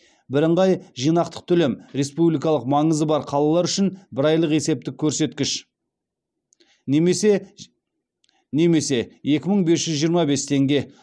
бірыңғай жинақтық төлем республикалық маңызы бар қалалар үшін бір айлық есептік көрсеткіш немесе екі мың бес жүз жиырма бес теңге